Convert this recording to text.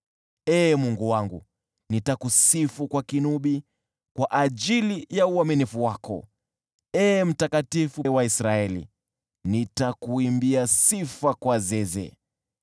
Ee Mungu wangu, nitakusifu kwa kinubi kwa ajili ya uaminifu wako; Ee Uliye Mtakatifu wa Israeli, nitakuimbia sifa kwa zeze.